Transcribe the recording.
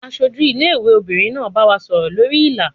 Aṣojú ilé ìwé obìnrin náà bá wa sọ̀rọ̀ lórí Ìlà.